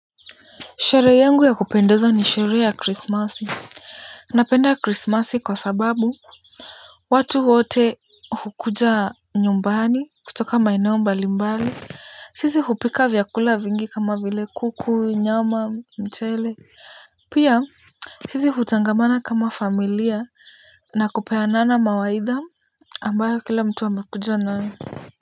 Sherehe yangu ya kupendeza ni sherehe ya Krismasi. Napenda Krismasi kwa sababu watu wote hukuja nyumbani kutoka maeneo mbalimbali. Sisi hupika vyakula vingi kama vile kuku, nyama, mchele. Pia sisi hutangamana kama familia na kupeanana mawaidha ambayo kila mtu amekuja nayo.